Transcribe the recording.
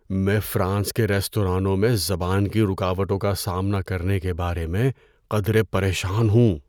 میں فرانس کے ریستورانوں میں زبان کی رکاوٹوں کا سامنا کرنے کے بارے میں قدرے پریشان ہوں۔